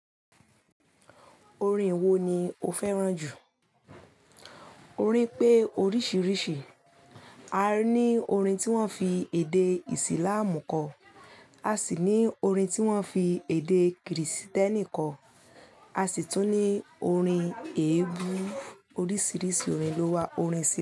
Orin wo ni o fẹ́ràn jù? Orín pé oríṣiríṣi, a ní orin tí wọ́n fi èdè ìsìlámù kọ, a sì ní orin tí wọ́n fi èdè kìrìsìtẹ́nì kọ, a sì tún ní orin eébú. Oríṣiríṣi orin ló wà. Orin ṣí.